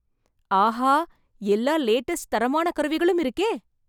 ஆஹா எல்லா லேட்டஸ்ட் தரமான கருவிகளும் இருக்கே!